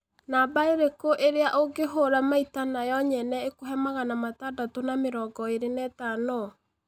Namba ĩrĩkũ ĩrĩa ungihũra maĩta na yo nyene ikuhe magana matandatũ na mĩrongo ĩĩrĩ na ĩtano